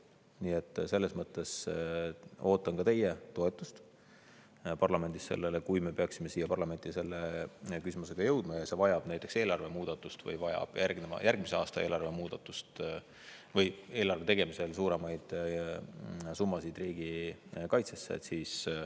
Nii et selles mõttes ootan ka teie toetust, kui me peaksime siia parlamenti selle küsimusega jõudma ja see vajab näiteks eelarve muudatust või vajab järgmise aasta eelarve tegemisel suuremaid summasid riigikaitsesse.